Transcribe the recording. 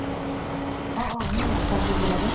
অ অ সেই আকাশ বুলাজন।